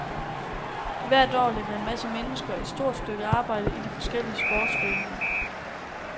Hvert år lægger en masse mennesker et stort stykke arbejde i de forskellige sportsforeninger.